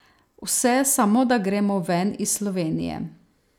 Vse, samo da gremo ven iz Slovenije!